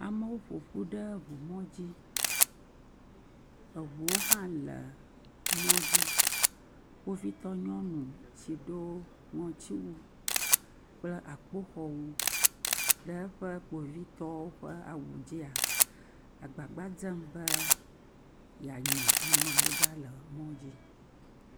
Amewo ƒoƒu ɖe ŋumɔdzi. Eŋuwo hã le mɔ dzi. Kpovitɔ nyɔnu si ɖo ŋɔtsiwu kple akpoxɔnu ɖe eƒe kpovitɔwo ƒe awu dzia agbagba dzem be yeanya amewo ɖa le mɔdzi.